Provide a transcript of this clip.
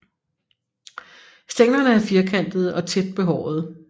Stænglerne er firkantede og tæt behårede